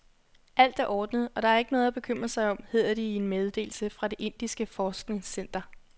Alt er ordnet, og der er ikke noget at bekymre sig om, hedder det i en meddelelse fra det indiske forskningscenter.